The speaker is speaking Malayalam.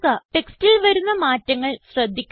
ടെക്സ്റ്റിൽ വരുന്ന മാറ്റങ്ങൾ ശ്രദ്ധിക്കുക